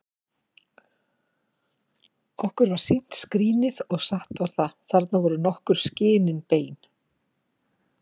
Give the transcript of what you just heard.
Var okkur sýnt skrínið, og satt var það: Þarna voru nokkur skinin bein!